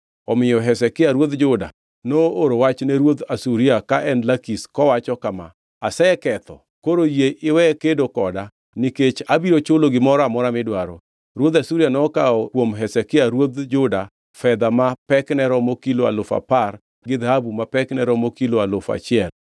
Omiyo Hezekia ruodh Juda nooro wach ne ruodh Asuria ka en Lakish kowacho kama: “Aseketho, koro yie iwe kedo koda nikech abiro chulo gimoro amora midwaro.” Ruodh Asuria nokawo kuom Hezekia ruodh Juda fedha ma pekne romo kilo alufu apar gi dhahabu ma pekne romo kilo alufu achiel.